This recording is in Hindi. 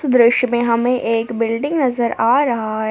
दृश्य में हमें एक बिल्डिंग नजर आ रहा है।